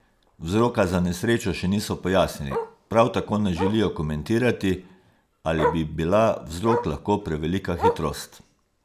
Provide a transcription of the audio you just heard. Vzroka za nesrečo še niso pojasnili, prav tako ne želijo komentirati, ali bi bila vzrok lahko prevelika hitrost.